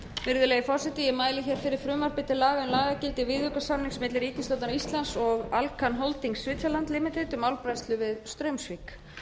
virðulegi forseti ég mæli fyrir frumvarpi til laga um lagagildi viðaukasamnings milli ríkisstjórnar íslands og alcan holdings switzerland ltd um álbræðslu við straumsvík